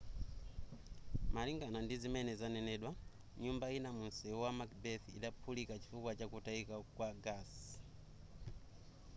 malingana ndizimene zanenedwa nyumba ina mu msewu wa macbeth idaphulika chifukwa chakutayika kwa gasi